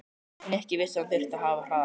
Nikki vissi að hann þyrfti að hafa hraðann á.